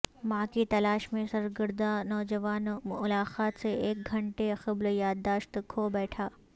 ماں کی تلاش میں سرگرداں نوجوان ملاقات سے ایک گھنٹے قبل یادداشت کھوبیٹھا